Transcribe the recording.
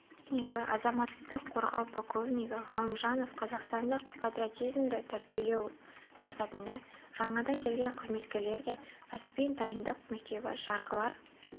технигі азаматтық қорғау полковнигі ғалымжанов қазақстандық патриотизмді тәрбиелеу мақсатында жаңадан келген қызметкерлерге кәсіби дайындық мектебі жарғылар